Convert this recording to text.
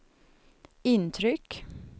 intryck